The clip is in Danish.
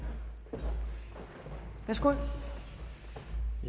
tak for